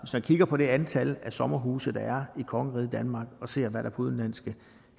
man kigger på det antal af sommerhuse der er i kongeriget danmark og ser hvad der er på udenlandske